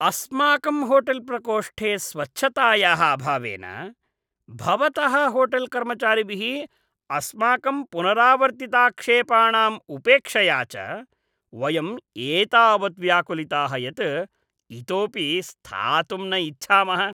अस्माकं होटेल्प्रकोष्ठे स्वच्छतायाः अभावेन, भवतः होटेल्कर्मचारिभिः अस्माकं पुनरावर्तिताक्षेपाणां उपेक्षया च वयम् एतावत् व्याकुलिताः यत् इतोपि स्थातुं न इच्छामः।